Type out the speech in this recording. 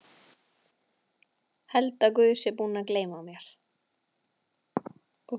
Held að Guð sé búinn að gleyma mér.